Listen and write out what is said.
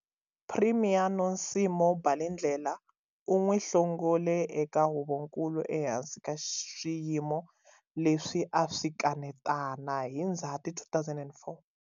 Premier Nosimo Balindlela u n'wi hlongole eka Huvonkulu ehansi ka swiyimo leswi a swi kanetana hi Ndzhati 2004.